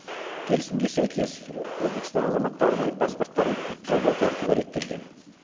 келісімге сәйкес өзбекстан азаматтарының паспорттарын жолдау тәртібі реттелген